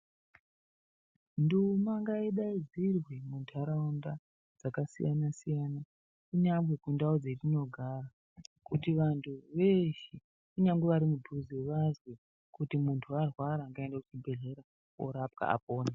Nduma ngaidaidzirwe muntauraunda dzakasiyana siyana kunyangwe kundau dzatinogara kuti vantu veshe kunyangwe vari mudhuze vazwe kuti muntu arwara ngaaende kuzvibhedhlera apone.